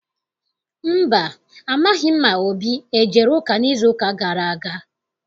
Mba, amaghị m ma Obi ejere ụka n'izuụka gara aga.